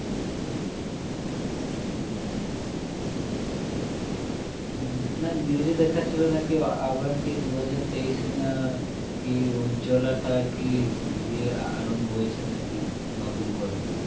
হম না news এ দেখাচ্ছিল নাকি আ~ আবার কি দু হাজার তেইশে না কী উজ্জলাটা কি ইয়ে আরম্ভ হয়েছে নাকি নতুন করে